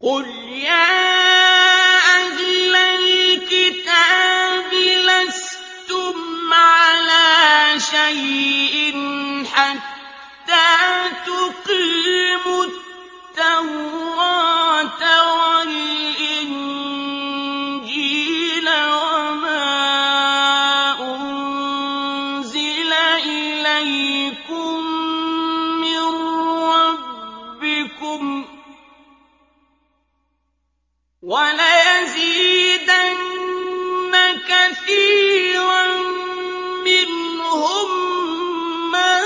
قُلْ يَا أَهْلَ الْكِتَابِ لَسْتُمْ عَلَىٰ شَيْءٍ حَتَّىٰ تُقِيمُوا التَّوْرَاةَ وَالْإِنجِيلَ وَمَا أُنزِلَ إِلَيْكُم مِّن رَّبِّكُمْ ۗ وَلَيَزِيدَنَّ كَثِيرًا مِّنْهُم مَّا